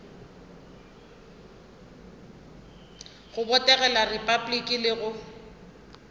go botegela repabliki le go